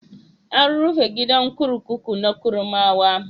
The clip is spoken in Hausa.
An rufe gidan kurkuku na Kurmawa.